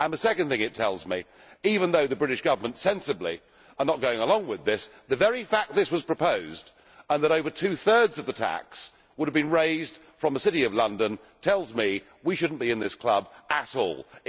Secondly, even though the British Government sensibly are not going along with this, the very fact that this was proposed and that over two thirds of the tax would have been raised from the City of London, tells me we should not be in this club at all.